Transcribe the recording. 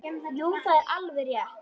Jú, það er alveg rétt.